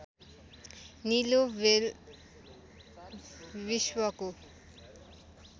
निलो व्हेल विश्वको